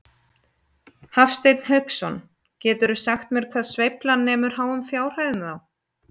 Hafsteinn Hauksson: Geturðu sagt mér hvað sveiflan nemur háum fjárhæðum þá?